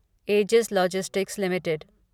edges logistics limited